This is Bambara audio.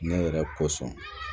Ne yɛrɛ kosɔn